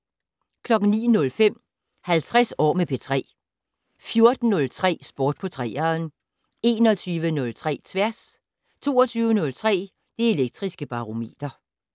09:05: 50 år med P3 14:03: Sport på 3'eren 21:03: Tværs 22:03: Det Elektriske Barometer